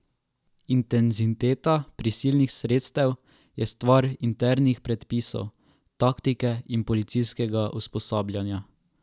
Intenziteta prisilnih sredstev je stvar internih predpisov, taktike in policijskega usposabljanja.